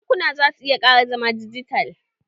Bankuna za su iya ƙara zama dijital